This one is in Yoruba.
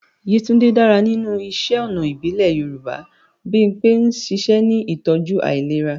Yetunde dára nínú iṣẹ́ ọnà ìbílẹ̀ Yorùbá. Bimpe ń ṣiṣẹ́ ní ìtọ́jú ìlera.